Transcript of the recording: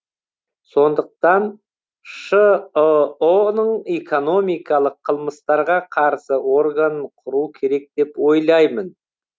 сондықтан шыұ ның экономикалық қылмыстарға қарсы органын құру керек деп ойлаймын